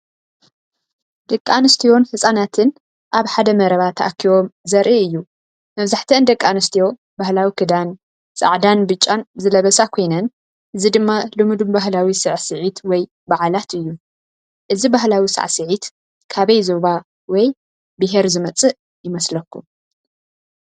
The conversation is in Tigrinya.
ደቂ ኣንስትዮን ህጻናትን ኣብ ሓደ መረባ ተኣኪቦም ዘርኢ እዩ። መብዛሕትአን ደቂ ኣንስትዮ ባህላዊ ክዳን ፣ ጻዕዳን ብጫን ዝለበሳ ኮይነን እዚ ድማ ልሙድ ባህላዊ ሳዕስዒት ወይ በዓላት እዩ። እዚ ባህላዊ ሳዕስዒት ካበይ ዞባ ወይ ብሄር ዝመጽእ ይመስለኩም?